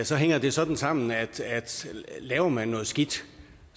sige hænger det sådan sammen at laver man noget skidt